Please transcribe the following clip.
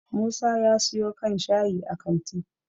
musa ya siyo kan shayi a kanti